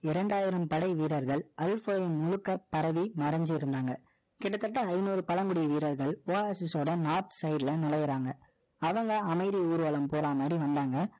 இரண்டாயிரம்படை வீரர்கள், முழுக்க பரவி, மறைஞ்சு இருந்தாங்க. கிட்டத்தட்ட, ஐநூறு பழங்குடி வீரர்கள், Oasis ஓட north side ல, நுழையறாங்க. அவங்க, அமைதி ஊர்வலம் போற மாரி, வந்தாங்க.